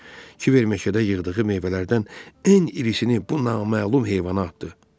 Kiber məşədə yığdığı meyvələrdən ən irisini bu naməlum heyvana atdı.